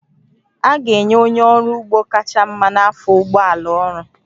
A ga-enye onye ọrụ ugbo kacha mma n'afọ ụgbọ ala ọrụ